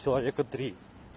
человека три